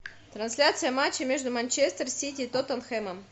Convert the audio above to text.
трансляция матча между манчестер сити и тоттенхэмом